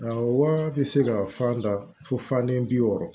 Awɔ bɛ se ka fan da fo fanden bi wɔɔrɔ